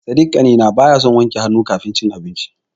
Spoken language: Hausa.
Sadik ƙanina baya son wanke hannu kafin yaci abinci.